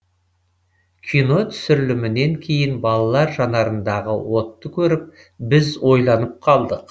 кино түсірілімінен кейін балалар жанарындағы отты көріп біз ойланып қалдық